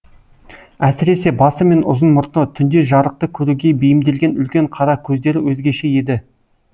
әсіресе басы мен ұзын мұрты түнде жарықты көруге бейімделген үлкен қара көздері өзгеше еді